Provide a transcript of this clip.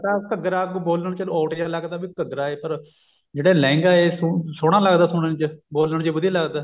ਘੱਗਰਾ ਬੋਲਣ ਚ odd ਜਾ ਲੱਗਦਾ ਵੀ ਘੱਗਰਾ ਹੈ ਪਰ ਜਿਹੜਾ ਲਹਿੰਗਾ ਹੈ ਸੋਹਣਾ ਲੱਗਦਾ ਸੁਣਨ ਚ ਬੋਲਣ ਚ ਵੀ ਵਧੀਆ ਲੱਗਦਾ